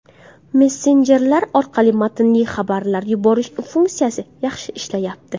Messenjerlar orqali matnli xabarlar yuborish funksiyasi yaxshi ishlayapti.